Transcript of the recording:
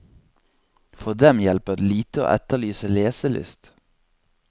For dem hjelper det lite å etterlyse leselyst.